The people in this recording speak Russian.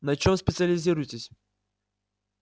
на чём специализируетесь